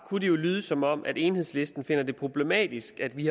lyde som om enhedslisten finder det problematisk at vi